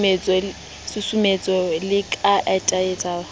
susumetse le ba atelete ba